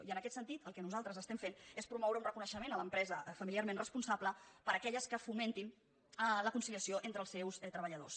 i en aquest sentit el que nosaltres estem fent és promoure un reconeixement a l’empresa familiarment responsable per a aquelles que fomentin la conciliació entre els seus treballadors